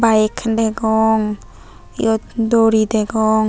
a Kiley degong yot duri degong.